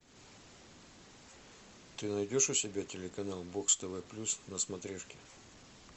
ты найдешь у себя телеканал бокс тв плюс на смотрешке